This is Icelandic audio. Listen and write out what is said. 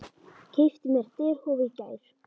Keypti mér derhúfu í gær.